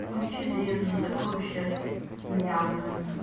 включи древние сокровища мьянмы